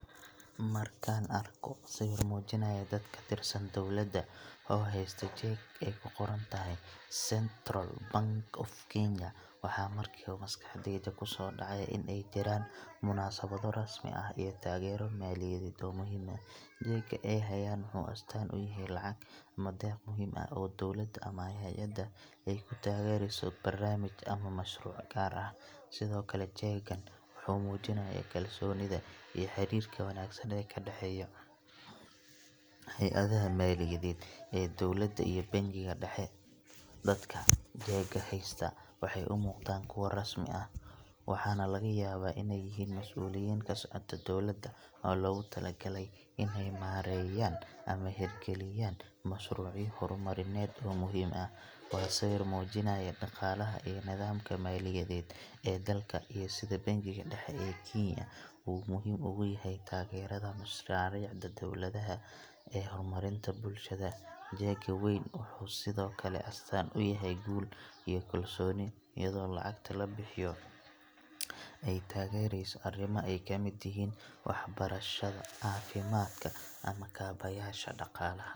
Markan argo siwir mujirayoh daad ka tirsan dowlada, oo hastoh jak ay ku qorantahay, central pank of keny waxaa ba marka baa maskaxdayda ku sodacda ina ay jiran oo na sadoh munasawo ramsmi ah iyo tagaro, maliyada oo muhiim ah ay hayan, jak ay hayan asatan uyahay lacag ama daq muhiim ah oo dowlada ama hayada aya ku tagrisoh barnamish ama mashruc gar ah, sidaa okle jakan wuxu mujinaya kalsonida iyo xirirka wagsan idin ka daxayoh, hayadaha maliyadad iyo dowlada iyo bankika daxa dadka jaka hasta, waxay umicdan kuwa rasmi ah, waxaa nah laga yabah ina ay yihin masuliyad kaa soctoh dowlada oo lagu talagali inay marsoyin ama xirkaliyan mashruciyad hormariya oo muhiim ah, waa siwir mujinayoh daqalaha iyo nadamka maliyadad, aa dalka iyo bankika daxa aa kenaya oo muhiim oga yahay tagarada mashraricda dowladaha aa hormarinta bulshada, jak wan wuxu sidaa okle astan uyahay guul kalsoni ayado lacagta la bixiyoh, ay tagarisoh arima ay kamid tihin waxbarashada cafimadka ama ka habyasha daqalah.